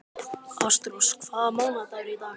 Ástrós, hvaða mánaðardagur er í dag?